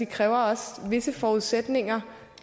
kræver visse forudsætninger